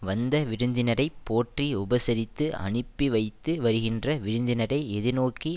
வந்த விருந்தினரை போற்றி உபசரித்து அனுப்பி வைத்து வருகின்ற விருந்தினரை எதிர்நோக்கி